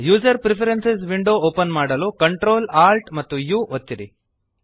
user preferences window open ಮಾಡಲು Ctrl Alt amp U ಒತ್ತಿರಿ